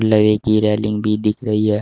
लवे की रेलिंग भी दिख रही है।